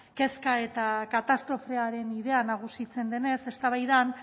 kezka eta katastrofearen bidea nagusitzen denez eztabaidan